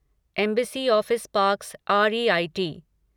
embassy office parks REIT